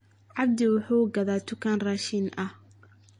abdi wuxuu gadhaa tukaan rashin ahh